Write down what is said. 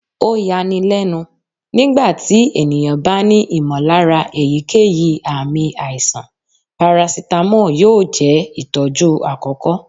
o ya ní lénu, nígbà tí ènìyàn bá ní ìmọ̀lára èyíkéyìí ààmì aíṣan, paracetamol yóò jẹ itọju akọkọ